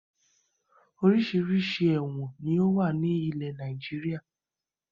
Oríṣiríṣi ẹ̀wọ̀n ni ó wà ní ilẹ̀ Nàìjíríà